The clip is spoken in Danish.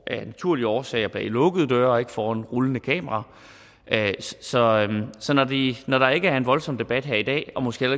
af naturlige årsager foregår bag lukkede døre og ikke foran rullende kamera så når der ikke er en voldsom debat her i dag og måske